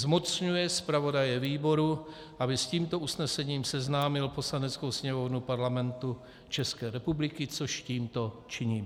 Zmocňuje zpravodaje výboru, aby s tímto usnesením seznámil Poslaneckou sněmovnu Parlamentu České republiky, což tímto činím.